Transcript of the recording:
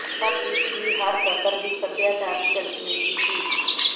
ਪਰ ਗੀਤ ਦੀ ਹਰ ਸਤਰ ਵਿੱਚੋਂ ਸੱਭਿਆਚਾਰ ਦੀ ਝਲਕ ਮਿਲਦੀ ਸੀ